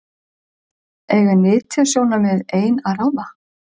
Eiga nytjasjónarmið ein að ráða?